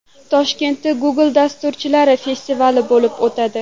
Toshkentda Google dasturchilari festivali bo‘lib o‘tadi.